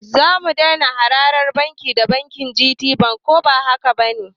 Zamu dai na harkar banki da bankin Gt koba hakaba ne?